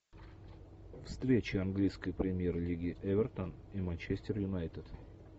встреча английской премьер лиги эвертон и манчестер юнайтед